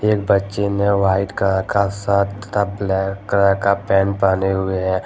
एक बच्चे ने व्हाइट कलर का शर्ट का ब्लैक कलर का पैंट पहने हुए हैं।